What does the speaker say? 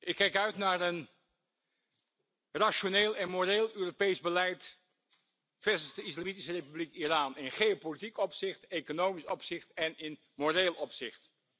Ik kijk uit naar een rationeel en moreel Europees beleid versus de Islamitische Republiek Iran in geopolitiek opzicht, economisch opzicht en in moreel opzicht.